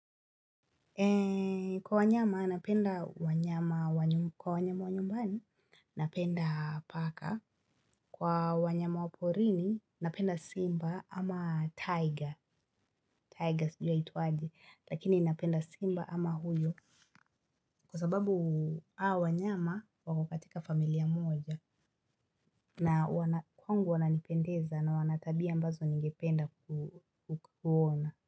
Kwa wanyama, napenda wanyama wa nyumbani. Napenda paka. Kwa wanyama wa porini, napenda simba ama tiger. Tiger sijui aitwaje. Lakini napenda simba ama huyo. Kwa sababu hawa wanyama wako katika familia moja. Kwangu wananipendeza na wanatabia ambazo ningependa kuwaona.